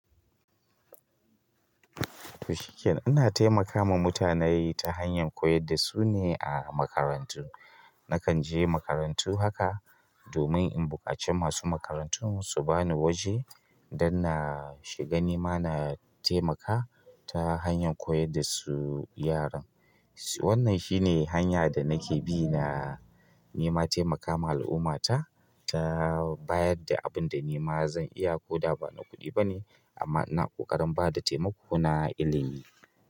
Toh shiken ana taimakawa mutanai ta hanyar koyar da su ne a makarantu. Nakan je makarantu haka domin in buƙaci masu makarantun su ba ni waje dan na shiga nima na taimaka ta hanyar koyar da su yaran. Wannan shi ne hanya da nake bi na nema taimakawa al'ummata ta bayad da abin da nima zan iya. Ko da ba na kuɗi ba ne amma ina ƙoƙarin bada taimako na ilimi.